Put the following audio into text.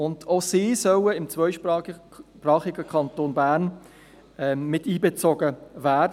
Auch diese sollen im zweisprachigen Kanton Bern miteinbezogen werden.